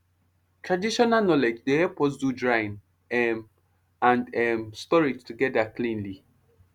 traditional knowledge dey help us do drying um and um storage together cleanly